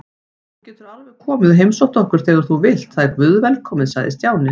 Þú getur alveg komið og heimsótt okkur þegar þú vilt, það er guðvelkomið sagði Stjáni.